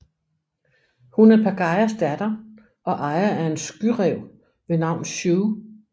Hun er Pagayas datter og ejer af en skyræv ved navn Sue